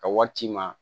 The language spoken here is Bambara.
Ka wari ci i ma